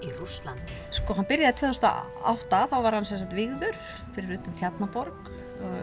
í Rússlandi sko hann byrjaði tvö þúsund og átta þá var hann vígður fyrir utan Tjarnarborg